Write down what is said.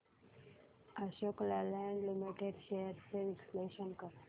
Ashok Leyland limited shares चे विश्लेषण कर